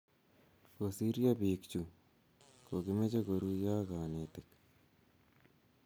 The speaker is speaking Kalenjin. Kosiryo biik chu cho ko kimoche koruyo ak konetik.